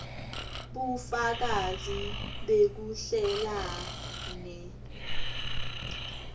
bufakazi bekuhlela ne